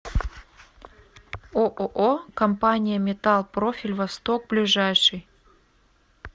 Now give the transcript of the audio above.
ооо компания металл профиль восток ближайший